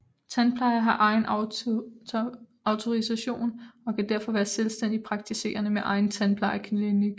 Tandplejere har egen autorisation og kan derfor være selvstændigt praktiserende med egen tandplejeklinik